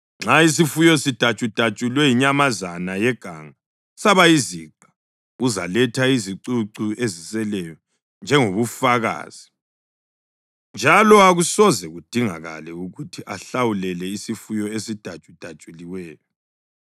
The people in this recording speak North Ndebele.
Nxa isifuyo sidatshudatshulwe yinyamazana yeganga saba yiziqa, uzaletha izicucu eziseleyo njengobufakazi njalo akusoze kudingakale ukuthi ahlawulele isifuyo esidatshudatshuliweyo.